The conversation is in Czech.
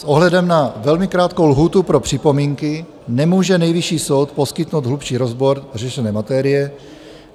S ohledem na velmi krátkou lhůtu pro připomínky nemůže Nejvyšší soud poskytnout hlubší rozbor řešené materie.